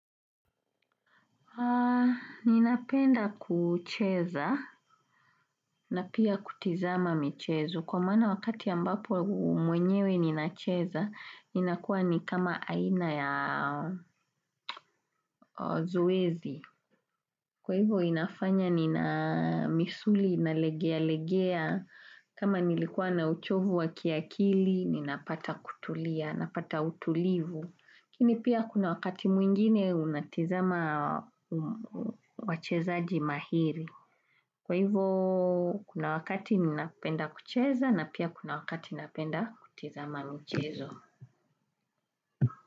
Ninapenda kucheza na pia kutazama michezo. Kwa maana wakati ambapo mwenyewe ninacheza, ninakuwa ni kama aina ya zoezi. Kwa hivo inafanya nina misuli, nalegea legea, kama nilikuwa na uchovu wa kiakili, ninapata kutulia, napata utulivu. Lakini pia kuna wakati mwingine unatazama wachezaji mahiri. Kwa hivyo kuna wakati ninapenda kucheza na pia kuna wakati ninapenda kutazama michezo.